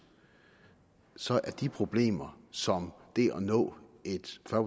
så er de problemer som det at nå et fyrre